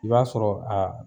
I b'a sɔrɔ a